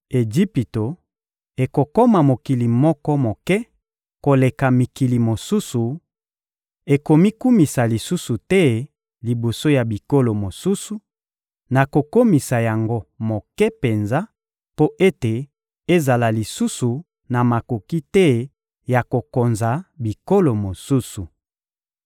Ejipito ekokoma mokili moko moke koleka mikili mosusu, ekomikumisa lisusu te liboso ya bikolo mosusu; nakokomisa yango moke penza mpo ete ezala lisusu na makoki te ya kokonza bikolo mosusu.